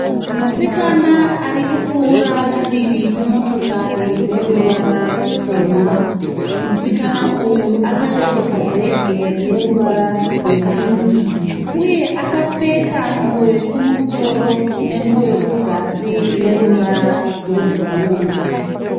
Musikana arikupfuura padivi pemotokari ineruvara rutema. Musikana uyu akabereka bhege rineruvara rwe pingi uye akapfeka nguvo yekumusoro nenguvo yekuzasi ineruvara rwebhuruu.